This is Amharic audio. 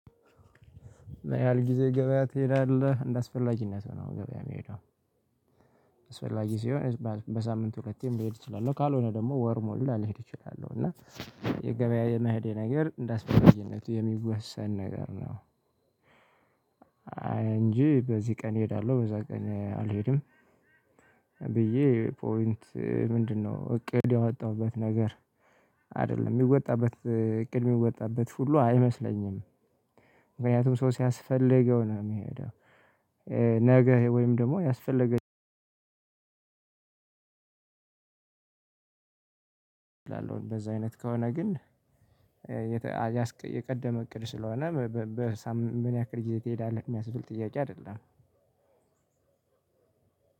ያህል ጊዜ ገበያ ትሄዳለህ እንደአስፈላጊነቱ ነው ገበያ የሚሄደው። አስፈላጊ ሲሆን በሳምንቱ ሁለቴም ልሄድ እችላለሁ ካልሆነ ደግሞ ወር ሙሉ ላለሄድ እችላለሁ እና የገበያ የመሄደ ነገር እንዳስፈላጊነቱ የሚወሰን ነገር ነው። እንጂ በዚህ ቀን እሄዳለሁ በዛ ቀን አልሄድም። ብዬ ፖይንት ምንድን ነው? እቅድ ያወጣሁበት ነገር አይደለም የሚወጣበት እቅድ የሚወጣበት ሁሉ አይመስለኝም። ምክንያቱም ሰው ሲያስፈልገው ነው የሚሄደው። ነገ ወይም ደግሞ ያስፈለገኝ። እላለሁኝ በዛ አይነት ከሆነ ግን። የቀደመ እቅድ ስለሆነ በሳምንት ምን ያክል ጊዜ ትሄዳለህ የሚያስብል ጥያቄ አይደለም።